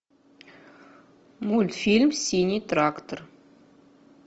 мультфильм синий трактор